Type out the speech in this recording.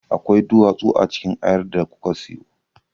Akwai duwatsu a cikin ayar da kuka siyo.